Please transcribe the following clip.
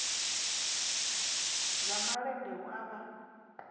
dza malende hu a vha